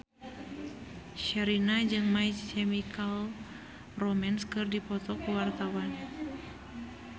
Sherina jeung My Chemical Romance keur dipoto ku wartawan